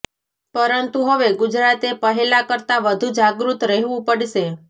પરંતુ હવે ગુજરાતે પહેલા કરતા વધુ જાગૃત રહેવું પડશે